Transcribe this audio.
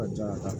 A ka ca